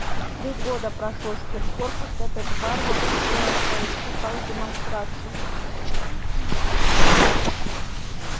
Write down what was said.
три года прошло с тех пор как этот варвар устроил в твоих цехах демонстрацию